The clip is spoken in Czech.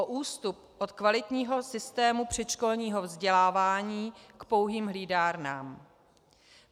O ústup od kvalitního systému předškolního vzdělávání k pouhým hlídárnám.